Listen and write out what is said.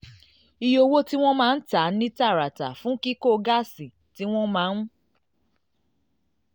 iye owó tí wọ́n máa ń tà ní tààràtà fún kíkó gásì tí wọ́n máa ń